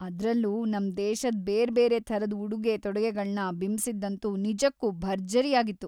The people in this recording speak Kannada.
ಅದ್ರಲ್ಲೂ, ನಮ್‌ ದೇಶದ ಬೇರ್ಬೇರೆ ಥರದ್‌ ಉಡುಗೆ-ತೊಡುಗೆಗಳನ್ನ ಬಿಂಬಿಸಿದ್ದಂತೂ ನಿಜಕ್ಕೂ ಭರ್ಜರಿಯಾಗಿತ್ತು.